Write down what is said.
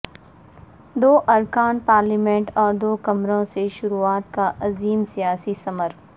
دو ارکان پارلیمنٹ اور دو کمروں سے شروعات کا عظیم سیاسی ثمر